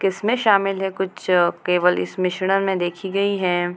किस्में शामिल है कुछ केवल इस मिश्रण में देखी गई है।